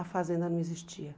a fazenda não existia.